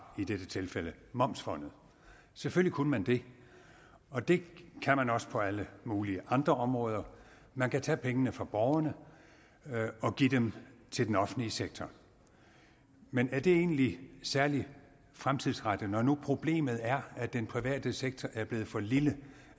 i dette tilfælde momsfondet selvfølgelig kunne man det og det kan man også på alle mulige andre områder man kan tage pengene fra borgerne og give dem til den offentlige sektor men er det egentlig særlig fremtidsrettet når nu problemet er at den private sektor er blevet for lille